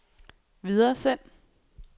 videresend